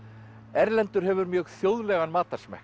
erlendur hefur mjög þjóðlegan